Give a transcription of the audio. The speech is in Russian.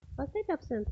поставь абсент